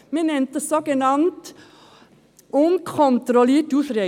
Das nennt man eine sogenannt unkontrollierte Ausreise.